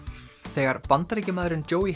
þegar Bandaríkjamaðurinn